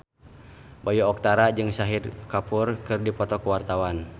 Bayu Octara jeung Shahid Kapoor keur dipoto ku wartawan